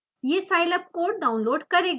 यह scilab code download करेगा